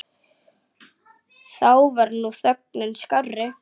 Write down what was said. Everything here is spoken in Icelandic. Þá var nú þögnin skárri.